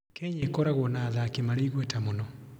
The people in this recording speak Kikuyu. Kenya ĩkoragwo na athaki marĩ igweta mũno.